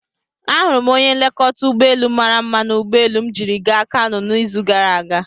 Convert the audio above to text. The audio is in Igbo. Ahụrụ m onye nlekọta ụgbọelu mara mma na ụgbọelu m jiri gaa Kanu n'izu gara aga.